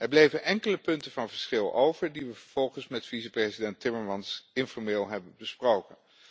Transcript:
Er bleven enkele punten van verschil over die we vervolgens met vicepresident Timmermans informeel hebben besproken.